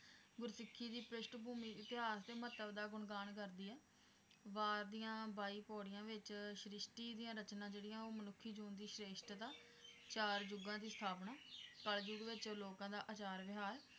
ਗੁਰਸਿੱਖੀ ਦੀ ਪ੍ਰਿਸ਼ਠ ਭੂਮੀ, ਇਤਿਹਾਸ ਦੇ ਮਹੱਤਵ ਦਾ ਗੁਣਗਾਣ ਕਰਦੀ ਆ ਵਾਰ ਦੀਆਂ ਬਾਈ ਪੌੜੀਆਂ ਵਿਚ ਸ੍ਰਿਸ਼ਟੀ ਦੀਆਂ ਰਚਨਾ ਜਿਹੜੀਆਂ ਉਹ ਮਨੁੱਖੀ ਜੂਨ ਦੀ ਸ਼੍ਰੇਸ਼ਠਤਾ ਚਾਰ ਯੁਗਾਂ ਦੀ ਸਥਾਪਨਾ ਕਲਯੁਗ ਵਿਚ ਲੋਕਾਂ ਦਾ ਅਚਾਰ ਵਿਹਾਰ,